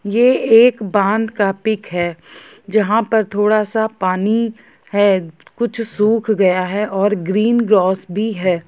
ये एक बाँध का पिक हैं जहा पर थोड़ा सा पानी हैं कुछ सूख गया है और हरा ग्रास भी है।